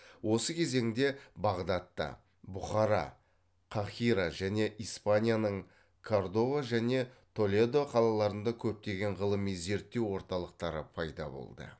осы кезеңде бағдадта бұхара қаһира және испанияның кордова және толедо қалаларында көптеген ғылыми зерттеу орталықтары пайда болды